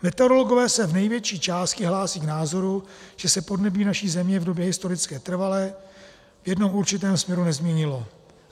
Meteorologové se v největší části hlásí k názoru, že se podnebí naší Země v době historické trvale v jednom určitém směru nezměnilo.